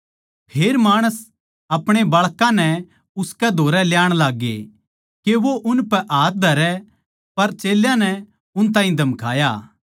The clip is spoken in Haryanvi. फेर माणस आपणे बाळकां नै उसकै धोरै ल्याण लाग्गे के वो उनपै हाथ धरै पर चेल्यां नै उन ताहीं धमकाया